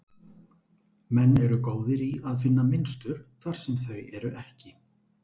Menn eru góðir í að finna mynstur þar sem þau eru ekki.